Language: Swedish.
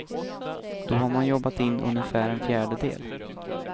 Då har man jobbat in ungefär en fjärdedel.